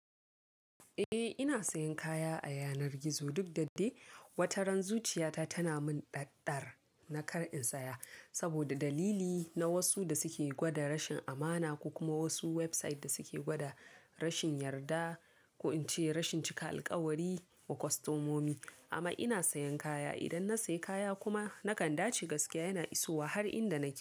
Eh ina sayan kaya a yanar gizo duk da de, wataran zuciyata tana min ɗaɗ-ɗar na kar in saya. Saboda dalili na wasu da suke gwada rashin amana, ko kuma wasu website da suke gwada rashin yarda, ko in ce rashin cika alƙawari wa kostomomi. Amma ina sayan kaya, idan na sayi kaya kuma nakan dace gaskiya yana isowa har inda nake.